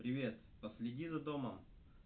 привет последи за домом